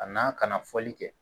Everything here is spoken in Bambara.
A n'a kana fɔli kɛ